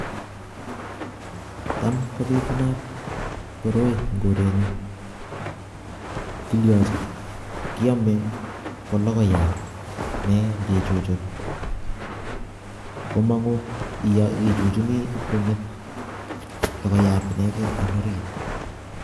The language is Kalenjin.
tam kobitubat koroi eng korenyun, kiliyachin kyamee ko logoiyat nee ngichuchun komanguu ichuchunini pkonget logoiyat eng orit